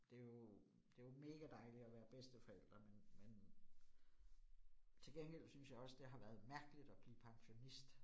Det jo, det jo mega dejligt at være bedsteforælder, men men til gengæld synes jeg også, det har været mærkeligt at blive pensionist